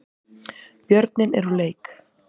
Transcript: Björninn er úr leik